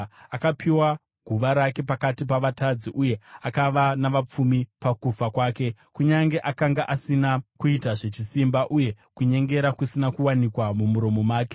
Akapiwa guva rake pakati pavatadzi, uye akava navapfumi pakufa kwake, kunyange akanga asina kuita zvechisimba, uye kunyengera kusina kuwanikwa mumuromo make.